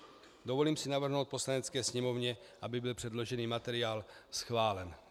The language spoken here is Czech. Dovolím si navrhnout Poslanecké sněmovně, aby byl předložený materiál schválen.